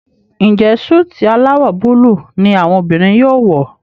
Njé Súìtì alawọ Búlúù ní àwọn obìrin yóò wọ?